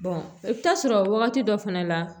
i bɛ taa sɔrɔ wagati dɔ fana la